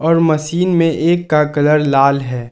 Machine में एक का कलर लाल है।